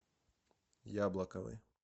яблоковой